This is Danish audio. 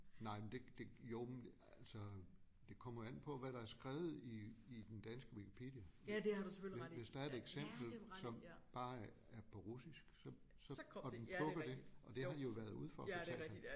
Nej men det det jo men altså det kommer an på hvad der er skrevet i i den danske Wikipedia hvis der er et eksempel som bare er på russisk så så og den plukker det og det har han jo været ude for fortalte han